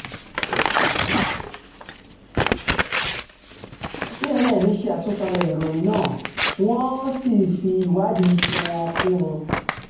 cnn ṣe àtúpalẹ̀ ìròyìn náà wọ́n um sì fi ìwádìí tiwọn um kún un